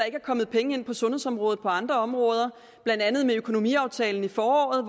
ikke er kommet penge ind til sundhedsområdet på andre områder blandt andet i økonomiaftalen i foråret